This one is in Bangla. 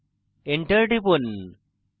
enter টিপুন